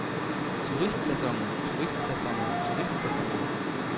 turistsæsonen turistsæsonen turistsæsonen